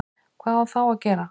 Hvað á þá að gera?